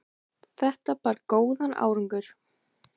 Þetta bar góðan árangur.